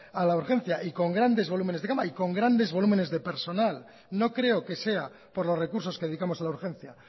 a la urgencia y con grandes volúmenes de cama y con grandes volúmenes de personal no creo que sea por los recursos que dedicamos a la urgencia